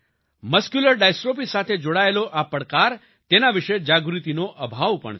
muscular dystrophy સાથે જોડાયેલા આ પડકાર તેના વિશે જાગૃતિનો અભાવ પણ છે